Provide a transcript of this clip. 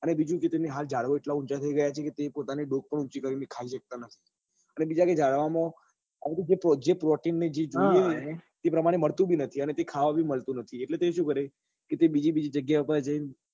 અને બીજું કે તેને હાલ ઝાડવા એટલા ઊંચા થઇ ગયા છે કે તે પોતાની ડોક પણ ઉંચી કરી ને ખાઈ સકતા નથી અને બીજા કઈ ઝાડવા માં protein એ જે જોઈએ ને એ પ્રમાણ માં મળતું નથી અને કઈ ખાવા બી મળતું નથી એટલે તો એ શું કરે કે બીજી બીજી જગ્યા એ